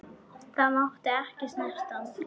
Það mátti ekki snerta hann.